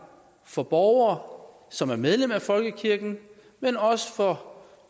for borgere som er medlem af folkekirken men også for